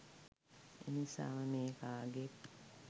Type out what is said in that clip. එනිසාම මෙය කාගේත්